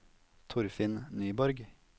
Torfinn Nyborg